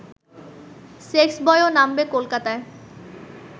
সেক্সবয়ও নামবে কলকাতায়